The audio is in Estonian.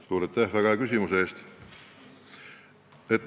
Suur aitäh väga hea küsimuse eest!